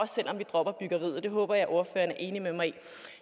selv om vi dropper byggeriet det håber jeg ordføreren er enig i men